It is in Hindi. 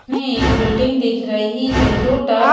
ने एक बिल्डिंग दिख रही है जो डार्क --